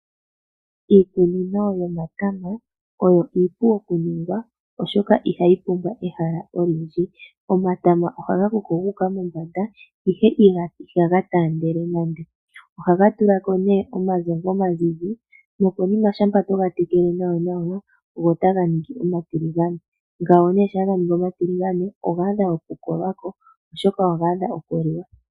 Iikunino yomatama oyo iipu okuningwa, oshoka ihayi pumbwa ehala olindji. Omatama ohaga koko gu uka mombanda, ihe ihaga taandele nande. Ohaga tula ko omagongwa omazizi nokonima shampa to ga tekele nawanawa go otaga ningi omatiligane. Shampa ga ningi omatiligane oga adha okukolwa ko, oshoka oga adha okuliwa.